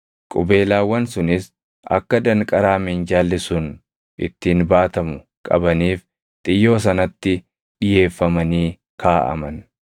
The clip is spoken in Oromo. Qubeelaawwan sunis akka danqaraa minjaalli sun ittiin baatamu qabaniif xiyyoo sanatti dhiʼeeffamanii kaaʼaman.